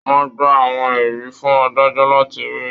Wọn gbà àwọn ẹrí fún adájọ láti rí.